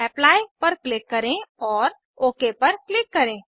apply पर click करें और ओक पर क्लिक करें